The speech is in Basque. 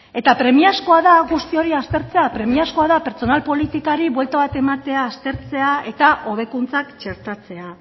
eta premiazkoa da guzti hori aztertzea premiazkoa da pertsonal politikari buelta bat ematea aztertzea eta hobekuntzak txertatzea